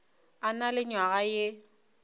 a na le nywaga ye